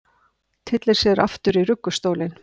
Tyllir sér aftur í ruggustólinn.